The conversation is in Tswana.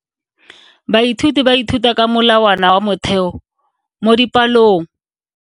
Baithuti ba ithuta ka molawana wa motheo mo dipalong.